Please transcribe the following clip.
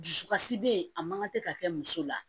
Dusukasi bɛ yen a man kan tɛ ka kɛ muso la